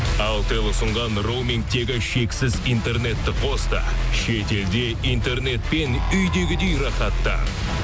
алтел ұсынған роумингтегі шексіз интернетті қос та шетелде интернетпен үйдегідей рахаттан